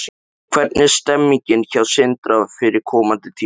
Hvernig er stemningin hjá Sindra fyrir komandi tímabil?